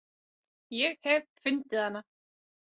Ég hef fundið hana.